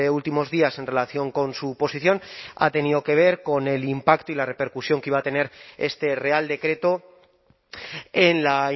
últimos días en relación con su posición ha tenido que ver con el impacto y la repercusión que iba a tener este real decreto en la